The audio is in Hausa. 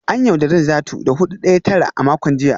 An yaudari Najatu da hudu daya tara a makon jiya